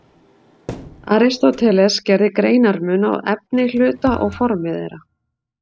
Aristóteles gerði greinarmun á efni hluta og formi þeirra.